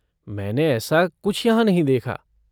मैंने ऐसा कुछ यहाँ नहीं देखा।